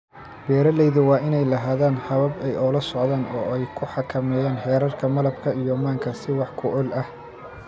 Beeralaydu waa inay lahaadaan habab ay ula socdaan oo ay u xakameeyaan heerarka malabka iyo manka si wax ku ool ah.